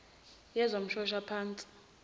yezomshoshaphansi